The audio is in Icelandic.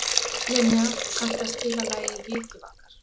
Linnea, kanntu að spila lagið „Vikivakar“?